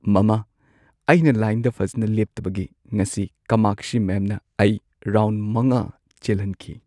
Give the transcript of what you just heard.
ꯃꯃꯥ, ꯑꯩꯅ ꯂꯥꯏꯟꯗ ꯐꯖꯅ ꯂꯦꯞꯇꯕꯒꯤ ꯉꯁꯤ ꯀꯃꯥꯛꯁꯤ ꯃꯦꯝꯅ ꯑꯩ ꯔꯥꯎꯟꯗ ꯵ ꯆꯦꯜꯍꯟꯈꯤ꯫